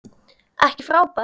Ekki frábær.